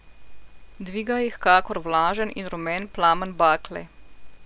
Dviga jih kakor vlažen in rumen plamen bakle.